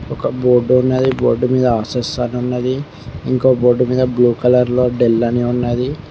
ఒక బోర్డు ఉన్నది బోర్డు మీద ఆషుష్ అని ఉన్నది ఇంకో బోర్డు మీద బ్లూ కలర్ లో డెల్ అని ఉన్నది.